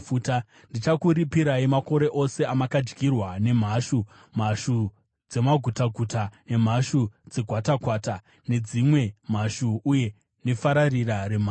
“Ndichakuripirai makore ose amakadyirwa nemhashu: mhashu dzemagutaguta nedzegwatakwata, dzimwe mhashu nefararira remhashu; hondo yangu huru yandinotuma pakati penyu.